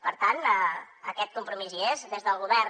per tant aquest compromís hi és des del govern